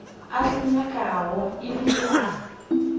a se nyakago ebile a